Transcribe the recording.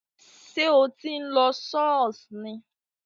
Sé o tí ń lo Ṣọọṣ ni?